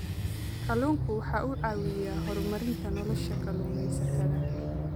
Kalluunku waxa uu caawiyaa horumarinta nolosha kalluumaysatada.